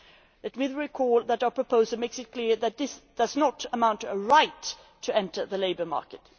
Let me recall that our proposal makes it clear that this does not amount to a right to enter the labour market.